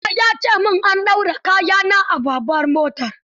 Musa ya ce min an dora kaya na a babbar motar.